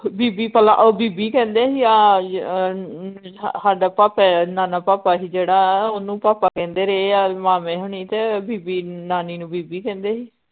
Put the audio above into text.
ਬੀਬੀ ਭਲਾ ਓ ਬੀਬੀ ਕਹਿੰਦੇ ਹੀ ਆ ਹੱਦ ਭਾਪੇ ਦਾ ਨਾਨਾ ਭਾਪਾ ਹੀ ਜਿਹੜਾ ਓਹਨੂੰ ਭਾਪਾ ਕਹਿੰਦੇ ਰਏ ਆ ਮਾਮੇ ਹੁਨੀ ਤੇ ਬੀਬੀ ਨਾਨੀ ਨੂੰ ਬੀਬੀ ਕਹਿੰਦੇ ਹੀ